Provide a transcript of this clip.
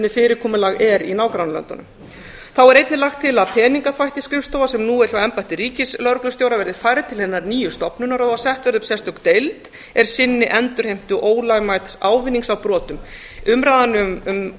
fyrirkomulag er í nágrannalöndunum þá er einnig lagt til að peningaþvættisskrifstofa sem nú er hjá embætti ríkislögreglustjóra verði færð til hinnar nýju stofnunar og að sett verði upp sérstök deild er sinni endurheimtu ólögmæts ávinnings af brotum umræðan um